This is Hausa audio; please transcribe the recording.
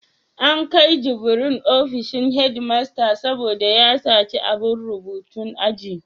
An kai Jubril ofishin headmaster saboda ya saci abun rubutun aji.